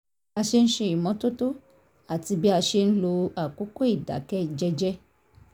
bí a ṣe ń ṣe ìmọ́tótó àti bí a ṣe ń lo àkókò ìdákẹ́ jẹ́jẹ́